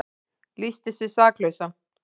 Lýsti sig saklausan